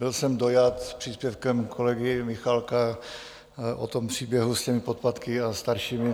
Byl jsem dojat příspěvkem kolegy Michálka o tom příběhu s těmi podpatky a staršími.